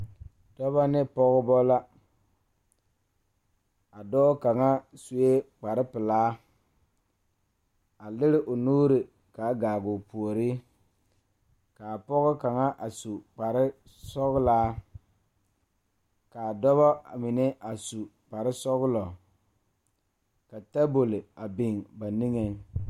Dɔɔba ne Pɔgeba kaa pɔge nyoŋ dɔɔ nu ka katawiɛ Kyaara ka dɔɔ a su dagakparo ka pɔge a gyere wagye a le kodo kaa dɔɔba a gyere wagyere.